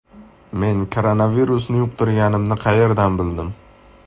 Men koronavirusni yuqtirganimni qayerdan bildim?